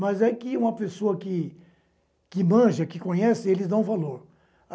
Mas é que uma pessoa que que manja, que conhece, eles dão valor.